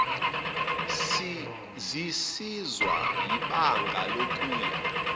zisizwa yibanga lokuya